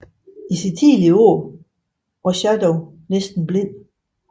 I sine senere år var Schadow næsten blind